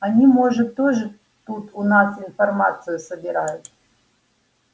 они может тоже тут у нас информацию собирают